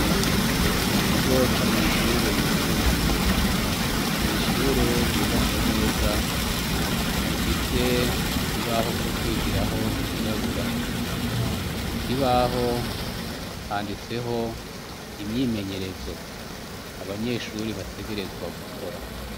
Mu kigo c' amashure yisumbuye . Mw' ishure ryubatse neza, rifise n' ikibaho co kwigiraho cirabura. Mu kibaho ,handitseho imyimenyerezo. Abanyeshure bategerezwa gukora.